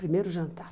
Primeiro jantar.